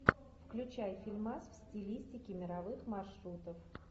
включай фильмас в стилистике мировых маршрутов